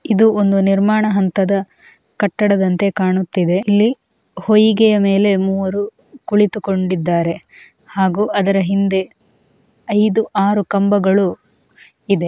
ಇದು ಒಂದು ನಿರ್ಮಾಣ ಹಂತದ ಕಟ್ಟಡದಂತೆ ಕಾಣುತ್ತಿದೆ ಇಲ್ಲಿ ವೈಗಿಯಮ್ಮೇಲೆ ಮೂವರು ಕುಳಿತುಕೊಂಡಿದ್ದಾರೆ ಹಾಗೂ ಅದರ ಹಿಂದೆ ಐದು ಆರು ಕಂಬಗಳು ಇದೆ --